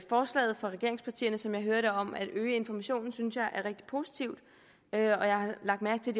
forslaget fra regeringspartierne som jeg hører det om at øge informationen synes jeg er rigtig positivt og jeg har lagt mærke til